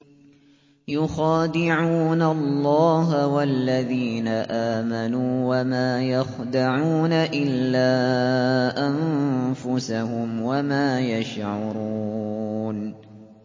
يُخَادِعُونَ اللَّهَ وَالَّذِينَ آمَنُوا وَمَا يَخْدَعُونَ إِلَّا أَنفُسَهُمْ وَمَا يَشْعُرُونَ